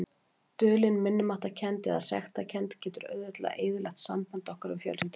Dulin minnimáttarkennd eða sektarkennd getur auðveldlega eyðilagt samband okkar við fjölskylduna.